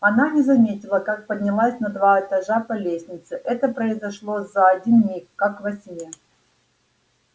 она не заметила как поднялась на два этажа по лестнице это произошло за один миг как во сне